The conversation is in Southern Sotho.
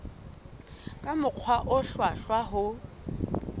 ka mokgwa o hlwahlwa ho